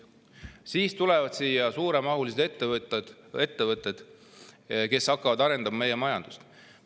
–, siis tulevad siia suuremahulised ettevõtted, kes hakkavad arendama meie majandust.